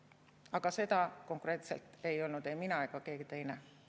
Aga seda konkreetselt ei öelnud ei mina ega keegi teine.